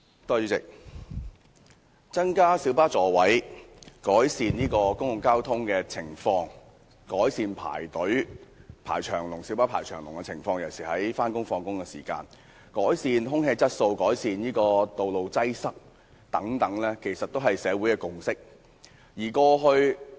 主席，增加公共小型巴士座位數目、改善公共交通情況、改善小巴大排長龍的情況、改善空氣質素、改善道路擠塞等，其實均是社會的共識。